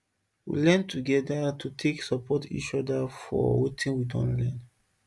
we learn together to take support each other for watin we don learn